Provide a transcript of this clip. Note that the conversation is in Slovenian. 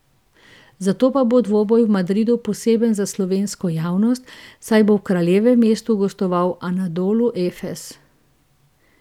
Zato pa bo dvoboj v Madridu poseben za slovensko javnost, saj bo v kraljevem mestu gostoval Anadolu Efes.